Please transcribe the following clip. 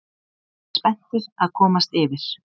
Spenntir að komast yfir